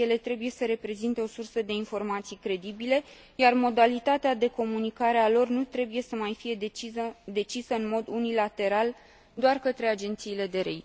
Ele trebuie să reprezinte o sursă de informații credibile, iar modalitatea de comunicare a lor nu trebuie să mai fie decisă în mod unilateral doar de către agențiile de rating.